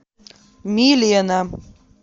милена